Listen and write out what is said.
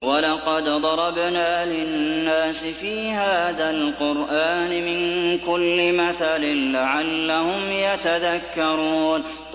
وَلَقَدْ ضَرَبْنَا لِلنَّاسِ فِي هَٰذَا الْقُرْآنِ مِن كُلِّ مَثَلٍ لَّعَلَّهُمْ يَتَذَكَّرُونَ